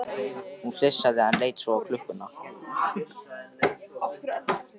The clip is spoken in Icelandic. Hún flissaði, en leit svo á klukkuna.